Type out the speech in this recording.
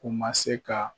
U ma se ka